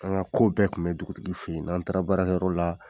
An ka ko bɛɛ kun bɛ dugutigi fɛ yen n'an taara baara kɛyɔrɔ la.